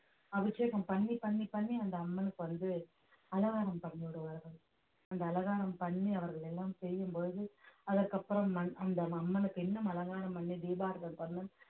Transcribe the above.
அபிஷேகம் பண்ணி பண்ணி பண்ணி அந்த அம்மனுக்கு வந்து அலங்காரம் பண்ணிவிடுவார்கள் அந்த அலங்காரம் பண்ணி அவர்கள் எல்லாம் செய்யும் பொழுது அதற்கப்புறம் அன்~ அந்த அம்மனுக்கு இன்னும் அலங்காரம் பண்ணி தீபாராதனை பண்ண~